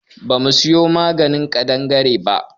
Ba mu so ganin ƙadangare ba